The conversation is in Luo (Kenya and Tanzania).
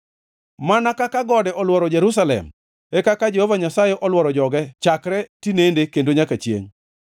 Mana kaka gode olworo Jerusalem, e kaka Jehova Nyasaye olworo joge chakre, tinende kendo nyaka chiengʼ.